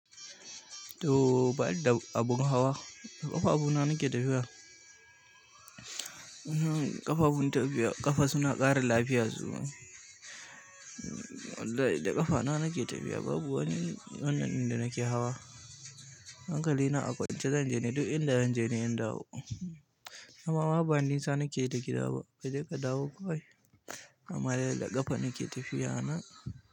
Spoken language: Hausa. To ba ni da abin hawa, da ƙafafuna nake tafiya. Ƙafa suna ƙara lafiya, wallahi da ƙafa ta nake tafiya to ba ni da abin hawa, da ƙafafuna nake tafiya. Dama ba nisa nake da gida ba je ka dawo kawai, amma dai da ƙafa nake tafiya na.